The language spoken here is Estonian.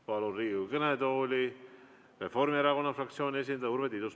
Palun Riigikogu kõnetooli Reformierakonna fraktsiooni esindaja Urve Tiiduse.